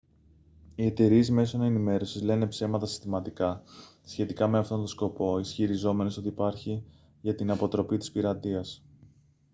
οι εταιρείες μέσων ενημέρωσης λένε ψέματα συστηματικά σχετικά με αυτόν τον σκοπό ισχυριζόμενες ότι υπάρχει για την «αποτροπή της πειρατείας»